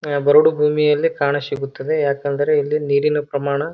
ಅಹ್ ಬರುಡು ಭೂಮಿಯಲ್ಲಿ ಕಾಣ ಸಿಗುತ್ತದೆ ಯಾಕೆಂದ್ರೆ ಇಲ್ಲಿ ನೀರಿನ ಪ್ರಮಾಣ --